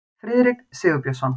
Friðrik Sigurbjörnsson.